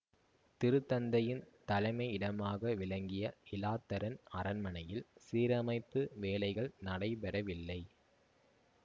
திருத்தந்தையின் தலைமை இடமாக விளங்கிய இலாத்தரன் அரண்மனையில் சீரமைப்பு வேலைகள் நடைபெறவில்லை